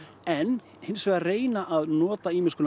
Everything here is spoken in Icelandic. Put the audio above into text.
en hins vegar reyna að nota